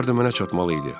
Pullar da mənə çatmalı idi.